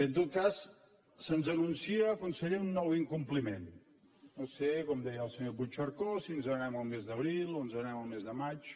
en tot cas se’ns anuncia conseller un nou incompliment no sé com deia el senyor puigcercós si ens n’anem al mes d’abril o ens n’anem al mes de maig